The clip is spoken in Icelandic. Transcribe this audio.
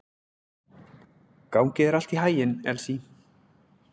Gangi þér allt í haginn, Elsý.